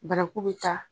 Banaku bɛ taa